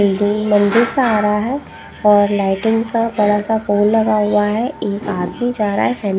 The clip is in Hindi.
बिल्डिंग मंदिर सा आ रहा हैं और लाइटिंग का बड़ा सा पोल लगा हुआ हैं एक आदमी जा रहा हैं फैम --